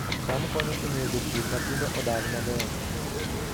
Cham konyo e miyo jopur matindo odag maber